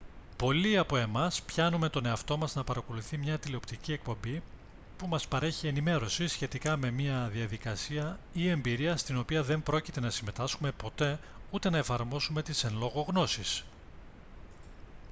πολλοί από εμάς πιάνουμε τον εαυτό μας να παρακολουθεί μια τηλεοπτική εκπομπή που μας παρέχει ενημέρωση σχετικά με μια διαδικασία ή εμπειρία στην οποία δεν πρόκειται να συμμετάσχουμε ποτέ ούτε να εφαρμόσουμε τις εν λόγω γνώσεις